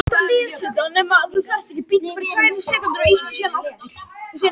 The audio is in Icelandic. Funda um afgreiðslu þingmála